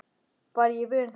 Var ég vön því?